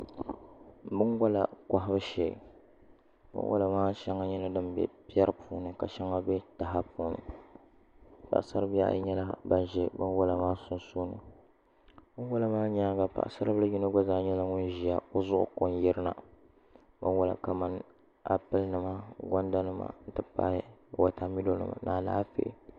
Binwola kohabu shee binwola maa shɛli nyɛla din bɛ piɛri puuni ka shɛŋa bɛ taha puuni paɣasari bihi ayi nyɛla ban ʒɛ binwola maa sunsuuni binwola maa nyaanga paɣasari bili yino gba zaa nyɛla ŋun ʒiya o zuɣu ko n yirina binwola kamani appli nima gonda nima n ti pahi wotamilo nima ni Alaafee